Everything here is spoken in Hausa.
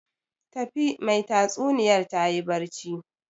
Tafi, mai tatsuniyar tayi barci